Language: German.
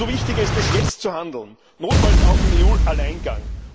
Umso wichtiger ist es, jetzt zu handeln, notfalls auch im EU Alleingang.